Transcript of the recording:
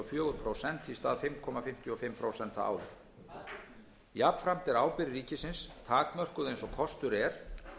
og fjögur prósent í stað fimm komma fimmtíu og fimm prósent áður jafnframt er ábyrgð ríkisins takmörkuð eins og kostur er